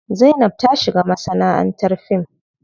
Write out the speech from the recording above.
Zainab za ta shiga masanaʼantar fim.